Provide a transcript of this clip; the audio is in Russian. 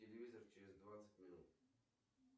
телевизор через двадцать минут